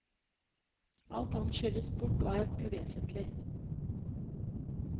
Alt annet skylles bort og er uvesentlig.